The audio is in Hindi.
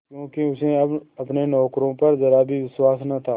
क्योंकि उसे अब अपने नौकरों पर जरा भी विश्वास न था